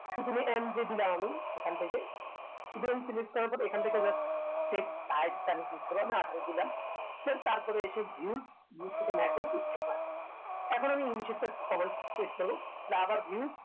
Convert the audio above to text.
সুতরাং mj দিলাম আমি এখান থেকে সুতরাং select করার পর এখন থেকে just দিলাম সে তারপর এসে views views থেকে macros এখন আমি english এ একটা cover page করবো তাহলে আবার views